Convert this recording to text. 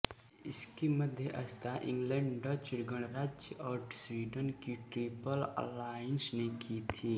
इसकी मध्यस्थता England Dutch गणराज्य और स्वीडन की ट्रिपल अलाइंस ने की थी